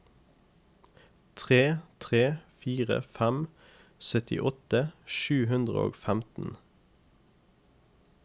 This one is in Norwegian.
tre tre fire fem syttiåtte sju hundre og femten